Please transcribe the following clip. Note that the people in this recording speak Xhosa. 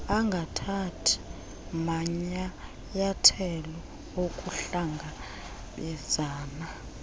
angathathi manyayathelo okuhlangabezana